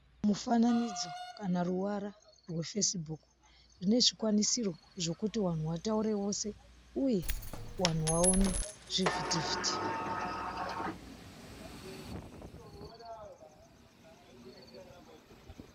Mufananidzo kana ruwara rweFacebook rine zvikwanisiro zvekuti wanhu wataure wose uye wanhu waone zvivhitivhiti.